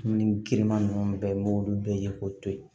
Dumuni girinman ninnu bɛɛ n'olu bɛɛ ye k'o to ye